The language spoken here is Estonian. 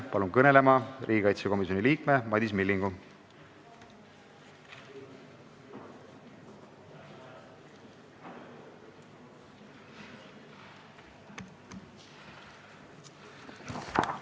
Palun kõnelema riigikaitsekomisjoni liikme Madis Millingu!